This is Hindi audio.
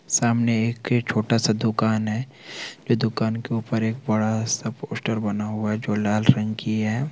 सामने एक छोटा -सा दुकान है दुकान के ऊपर एक बड़ा- सा पोस्टर बना हुआ है जो लाल रंग की है।